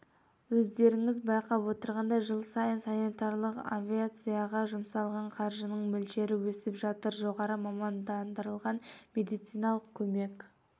өздеріңіз байқап отырғандай жыл сайын санитарлық авиацияға жұмсалған қаржының мөлшері өсіп жатыр жоғары мамандандырылған медициналық көмек